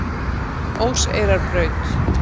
Óseyrarbraut